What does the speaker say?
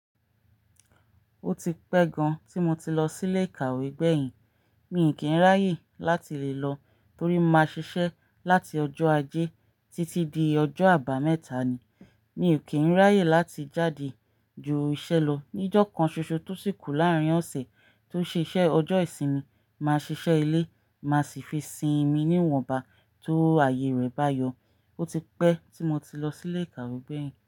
Ó ti pẹ́ gan tí mo ti lọ sílé ìkàwé gbẹ̀yìn. Mi kì í ráyè láti le lọ torí mo máa ń ṣiṣẹ́ láti ọjọ́ ajé títí di ọjọ́ àbámẹ́ta ni. Mi ò kí ń ráyè láti jáde ju iṣẹ́ lọ. Ní ọjọ́ kan ṣoṣo tó sìkù láàrín ọ̀sẹ̀ tó ṣe ṣẹ ọjọ́ ìsinmi, màá ṣiṣẹ́ ilé, màá sì fi sinmi níwọ̀nba tó ààyè rẹ bá yọ. Ó ti pẹ́ tí mo ti lọ sílé ìkàwé gbẹ̀yìn.